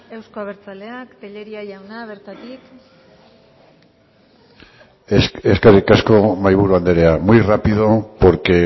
euzko abertzaleak tellería jauna bertatik eskerrik asko mahaiburu andrea muy rápido porque